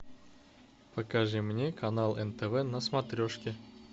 покажи мне канал нтв на смотрешке